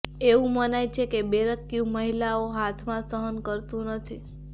એવું મનાય છે કે બરબેકયુ મહિલાઓના હાથમાં સહન કરતું નથી